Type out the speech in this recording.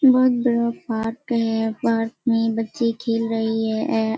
बहुत बड़ा पार्क है पार्क में बच्चे खेल रहे हैं।